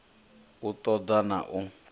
u ṱo ḓa na u